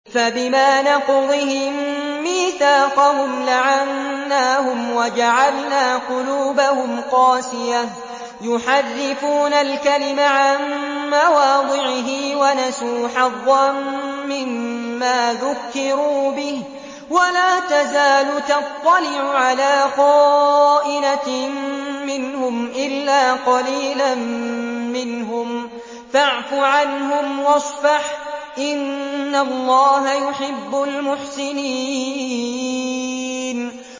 فَبِمَا نَقْضِهِم مِّيثَاقَهُمْ لَعَنَّاهُمْ وَجَعَلْنَا قُلُوبَهُمْ قَاسِيَةً ۖ يُحَرِّفُونَ الْكَلِمَ عَن مَّوَاضِعِهِ ۙ وَنَسُوا حَظًّا مِّمَّا ذُكِّرُوا بِهِ ۚ وَلَا تَزَالُ تَطَّلِعُ عَلَىٰ خَائِنَةٍ مِّنْهُمْ إِلَّا قَلِيلًا مِّنْهُمْ ۖ فَاعْفُ عَنْهُمْ وَاصْفَحْ ۚ إِنَّ اللَّهَ يُحِبُّ الْمُحْسِنِينَ